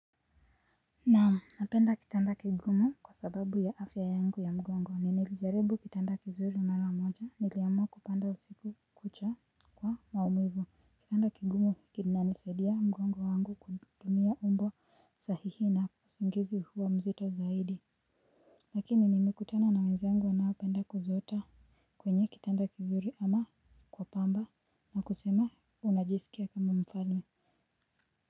Naam napenda kitanda kigumu kwa sababu ya afya yangu ya mgongo nilijaribu kitanda kizuri mara moja niliamua kupanda usiku kucha kwa maumivu kitanda kigumu kinanisaidia mgongo wangu kutumia umbo sahihi na usingizi huo mzito zaidi lakini nimekutana na wenzangu wanaopenda kuzota kwenye kitanda kizuri ama kwa pamba na kusema unajiskia kama mfalme.